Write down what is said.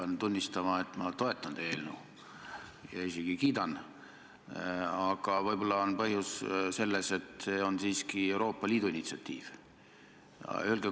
Ma pean tunnistama, et ma toetan teie eelnõu ja isegi kiidan, aga võib-olla on põhjus selles, et see on siiski Euroopa Liidu initsiatiiv.